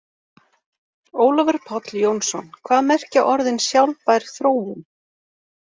Ólafur Páll Jónsson: Hvað merkja orðin sjálfbær þróun?